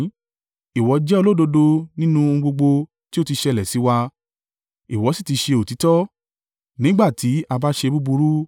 Ìwọ jẹ́ olódodo nínú ohun gbogbo tí ó ti ṣẹlẹ̀ sí wa; ìwọ sì ti ṣe òtítọ́, nígbà tí a bá ṣe búburú.